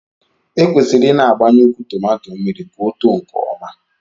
Ekwesịrị ịna-agbanye ukwu tomato mmiri ka ọ too nke ọma